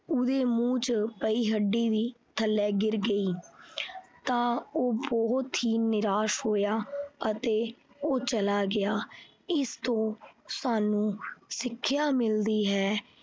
ਉਹਦੇ ਮੂੰਹ ਚ ਪਈ ਹੱਡੀ ਵੀ ਥੱਲੇ ਗਿਰ ਗਈ। ਤਾਂ ਉਹ ਬਹੁਤ ਹੀ ਨਿਰਾਸ਼ ਹੋਇਆ ਅਤੇ ਉਹ ਚਲਾ ਗਿਆ। ਇਸ ਤੋਂ ਸਾਨੂੰ ਸਿੱਖਿਆ ਮਿਲਦੀ ਹੈ